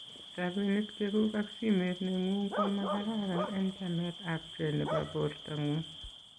Rabinik chekuk ak simet neng'ung ko makararan en chamet ab ke nebo borto ng'ung.